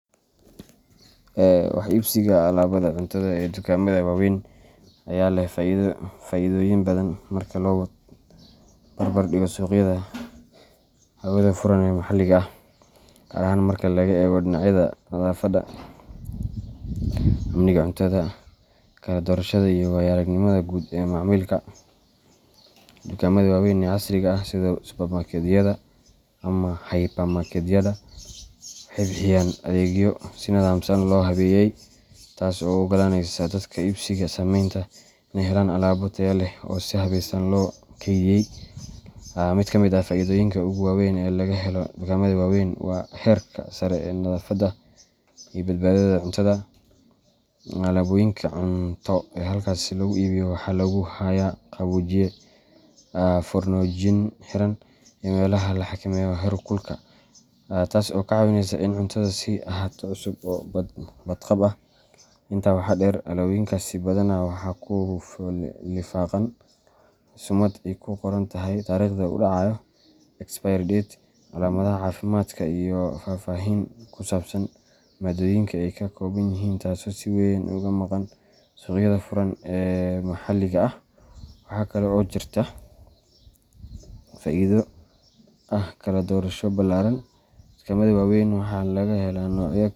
Wax iibsiga alaabada cuntada ee dukaamada waaweyn ayaa leh faa’iidooyin badan marka loo barbar dhigo suuqyada hawada furan ee maxalliga ah, gaar ahaan marka laga eego dhinacyada nadaafadda, amniga cuntada, kala-doorashada, iyo waayo-aragnimada guud ee macaamilka. Dukaamada waaweyn ee casriga ah, sida supermarketyada ama hypermarketyada, waxay bixiyaan adeegyo si nidaamsan loo habeeyay, taasoo u oggolaanaysa dadka iibsiga sameynaya in ay helaan alaabo tayo leh oo si habeysan loo keydiyey. Mid ka mid ah faa’iidooyinka ugu waaweyn ee laga helo dukaamada waaweyn waa heerka sare ee nadaafadda iyo badbaadada cuntada. Alaabooyinka cunto ee halkaas lagu iibiyo waxaa lagu hayaa qaboojiye, foornooyin xiran, iyo meelaha la xakameeyo heerkulka, taasoo ka caawinaysa in cuntadu sii ahaato cusub oo badqab ah. Intaa waxaa dheer, alaabooyinkaasi badanaa waxaa ku lifaaqan sumad ay ku qoran tahay taariikhda uu dhacayo expiry date, calaamadaha caafimaadka, iyo faahfaahin ku saabsan maaddooyinka ay ka kooban yihiin taasoo si weyn uga maqan suuqyada furan ee maxalliga ah. Waxaa kale oo jirta faa’iido ah kala-doorasho ballaaran. Dukaamada waaweyn waxaa laga helaa noocyo.